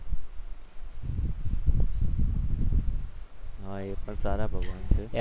હા એ પણ સારા ભગવાન છે.